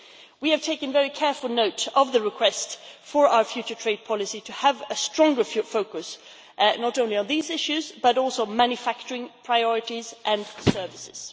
We have taken very careful note of the request for our future trade policy to have a stronger focus not only on these issues but also on manufacturing priorities and services.